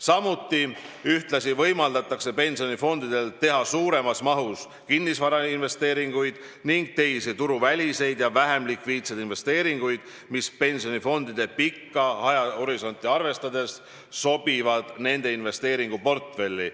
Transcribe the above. Samuti võimaldatakse pensionifondidel teha suuremas mahus kinnisvarainvesteeringuid ning teisi turuväliseid ja vähem likviidseid investeeringuid, mis pensionifondide kauget ajahorisonti arvestades sobivad nende investeeringuportfelli.